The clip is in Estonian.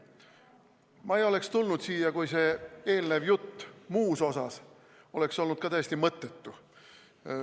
" Ma ei oleks tulnud siia, kui see eelnev jutt muus osas poleks olnud ka täiesti mõttetu.